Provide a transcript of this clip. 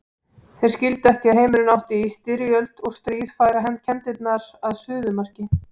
Þeir skildu ekki að heimurinn átti í styrjöld og stríð færa kenndirnar að suðumarki.